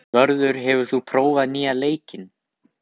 Vörður, hefur þú prófað nýja leikinn?